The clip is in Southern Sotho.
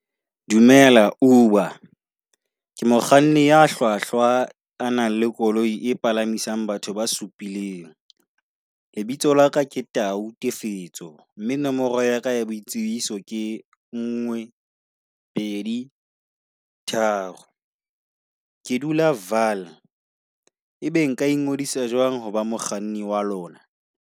Dumela Uber, ke mokganni ya hlwahlwa a nang le koloi e palamisang batho ba supileng. Lebitso la ka ke Tau Tiisetso , mme nomoro ya ka ya boitsibiso ke nngwe pedi tharo. Ke dula Vaal. Ebe nka ingodisa jwang ho ba mokganni wa lona?